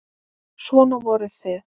Svona voruð þið.